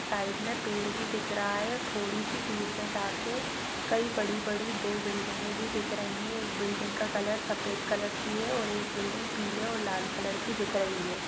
Side में पेड़ भी दिख रहा है थोड़ी सी दूर में जा के कई बड़ी-बड़ी दो बिल्डिंगे भी दिख रही है एक बिल्डिंग का कलर सफ़ेद कलर की है और एक बिल्डिंग पीले और लाल कलर की दिख रही है।